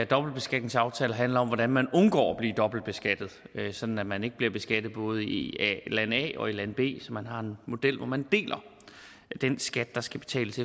dobbeltbeskatningsaftaler handler om hvordan man undgår at blive dobbeltbeskattet sådan at man ikke bliver beskattet både i land a og i land b for man har en model hvorefter man deler den skat der skal betales